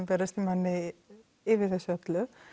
berast manni yfir þessu öllu